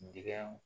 Digɛn